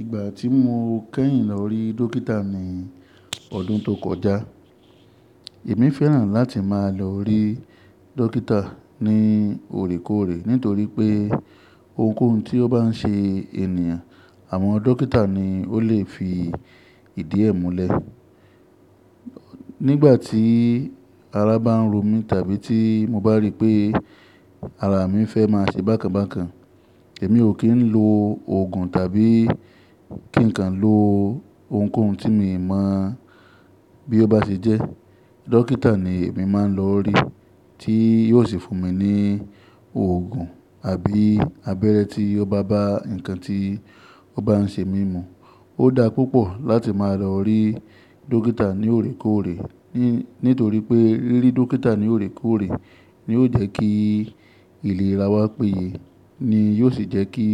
Igba ti mo kẹ́yìn lọ rí dókítà ní ọdún tó kọjá. Èmi fẹ́ràn láti máa lọ rí dókítà ní òorékóòrè nítorí pé ohunkóhun tí ó bá n ṣe ènìyàn, àwọn dókítà ni o lè fi ìdí ẹ múlẹ̀. Nígbà tí ara bá n ro mí tàbí tí mo bá rí pé ara mi fẹ́ má ṣe bákan bákan, èmi o kín ló oògùn tàbí kín n kan ló ohunkóhun tí mi mọ̀ bí ó bá ṣe jẹ́. Dókítà ni èmi má lọ rí tí yóò sì fún mi ní oògùn àbí abẹ́rẹ́ tí ó bá ba ǹkan tí ó bá n ṣe mí mu. Ó dá púpọ̀ láti má a lọ rí dókítà ní oòrékóòrè nítorí pé rí dókítà ní oòrékóòrè ni yóò jẹ́ kí ìlera wá péye ni yóò sì jẹ́ kí